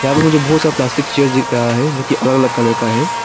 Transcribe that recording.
यहां प मुझे बहुत सारा प्लास्टिक चेयर देख रहा है जो की अलग अलग कलर का है।